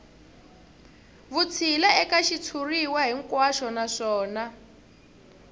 vutshila eka xitshuriwa hinkwaxo naswona